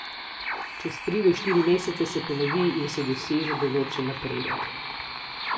Čez tri do štiri mesece se ponovi in se doseže določen napredek.